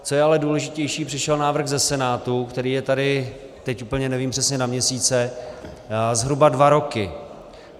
Co je ale důležitější, přišel návrh ze Senátu, který je tady, teď úplně nevím přesně na měsíce, zhruba dva roky.